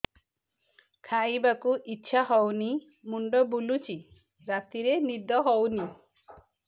ଖାଇବାକୁ ଇଛା ହଉନି ମୁଣ୍ଡ ବୁଲୁଚି ରାତିରେ ନିଦ ହଉନି